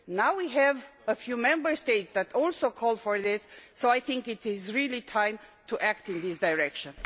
Now we have a few Member States that are also calling for this, so I think it really is time to act in this direction.